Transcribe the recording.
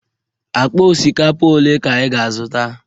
Akpa osikapa ole ka ị ga-azụta?